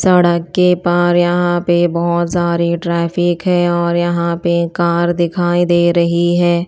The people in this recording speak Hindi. सड़क के पार यहां पे बहोत सारे ट्राफिक है और यहां पे कार दिखाई दे रही है।